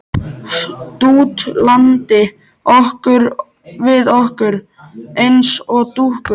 Dútlandi við okkur eins og dúkkur.